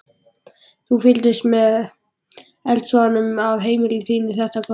Þú fylgdist með eldsvoðanum af heimili þínu þetta kvöld?